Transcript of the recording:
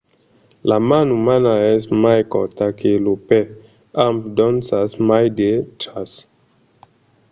la man umana es mai corta que lo pè amb d'onças mai drechas